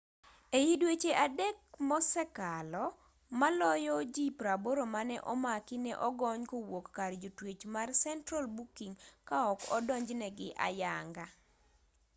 ei dweche 3 mosekalo maloyo ji 80 mane omaki ne ogony kowuok kar jotwech mar central booking ka ok odonjnegi ayanga